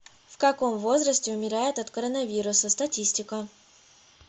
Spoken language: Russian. в каком возрасте умирают от коронавируса статистика